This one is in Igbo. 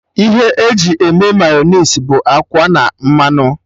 Ihe e ji eme Mayọnais bụ akwa na mmanụ